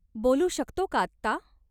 बोलू शकतो का आत्ता?